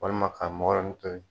Walima ka mɔgɔ yɛrɛ nun to yi.